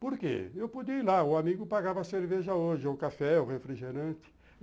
Porque eu podia ir lá, o amigo pagava a cerveja hoje, o café, o refrigerante.